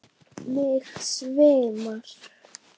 Mig svimar.